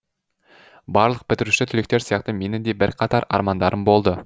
барлық бітіруші түлектер сияқты менің де бірқатар армандарым болды